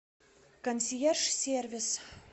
консьерж сервис